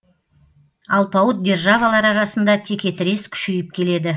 алпауыт державалар арасында текетірес күшейіп келеді